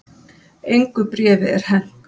Engu bréfi er hent